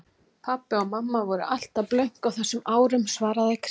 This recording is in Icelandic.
Pabbi og mamma voru alltaf blönk á þessum árum svaraði Kristín.